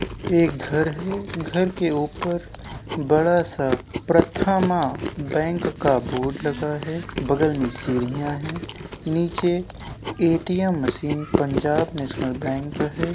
एक घर है घर के ऊपर बड़ा सा प्रथमा बैंक का बोर्ड लगा है | बगल में सीढियां है नीचे ATM machine Punjab national bank है ।